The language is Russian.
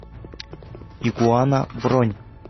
игуана бронь